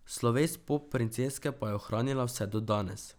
Sloves pop princeske pa je ohranila vse do danes.